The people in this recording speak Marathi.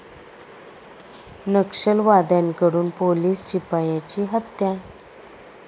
नक्षलवाद्यांकडून पोलीस शिपायाची हत्या